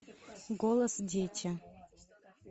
голос дети